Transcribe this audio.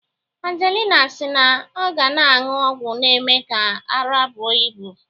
Angelina si na ọ ga na-aṅụ ọgwụ na-eme ka ara bụo ibu